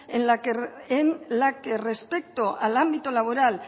en la que respecto al ámbito laboral